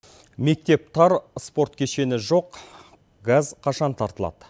мектеп тар спорт кешені жоқ газ қашан тартылады